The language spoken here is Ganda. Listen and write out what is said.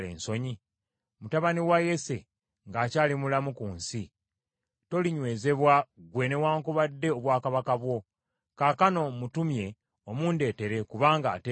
Mutabani wa Yese ng’akyali mulamu ku nsi, tolinywezebwa ggwe newaakubadde obwakabaka bwo. Kaakano mutumye omundeetere, kubanga ateekwa okufa.”